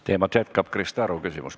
Teemat jätkab Krista Aru küsimus.